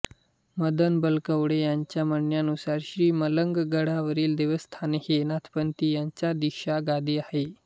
मदन बलकवडे यांच्या म्हणण्यानुसार श्री मलंग गडावरील देवस्थान हे नाथपंथियांची दीक्षा गादी आहे